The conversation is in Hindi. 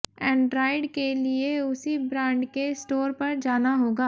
एंड्रॉयड के लिए उसी ब्रांड के स्टोर पर जाना होगा